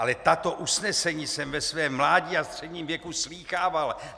Ale tato usnesení jsem ve svém mládí a středním věku slýchával.